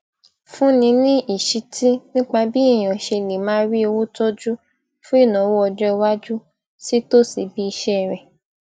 fúnni ní ìṣítí nípa bí èèyàn ṣe lè máa rí owó tójú fún ìnáwó ọjọiwájú sí tòsí ibi iṣé rẹ